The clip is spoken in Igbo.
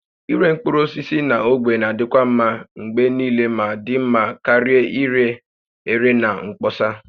Ịre mkpụrụ osisi na ogbe na-adịkwa mma mgbe niile ma dị mma karịa ire ere na mkpọsa